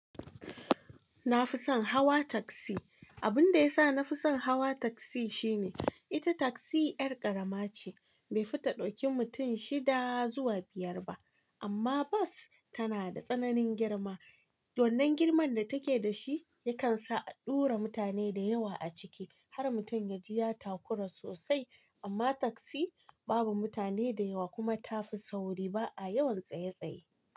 Na fi son hawa taksi. Abun da ya sa na fi son hawa taksi shine ita taksi ƴar ƙarama ce, bai fi ta ɗauki mutum shida zuwa biyar ba. Amma bas tana da tsananin girma. Wannan girman da take da shi yakan sa a ɗura mutane da yawa a ciki har mutum ya ji ya takura sosai. Amma taksi babu mutane da yawa kuma ta fi sauri ba a yawan tsaye tsaye.